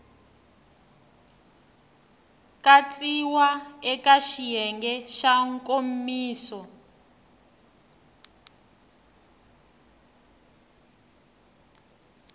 katsiwa eka xiyenge xa nkomiso